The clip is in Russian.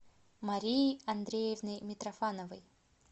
марией андреевной митрофановой